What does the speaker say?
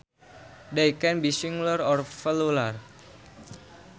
They can be singular or plural